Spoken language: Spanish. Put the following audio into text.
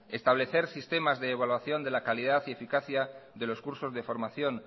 establecer sistemas de evaluación de la calidad y eficacia de los cursos de formación